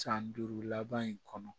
San duuru laban in kɔnɔ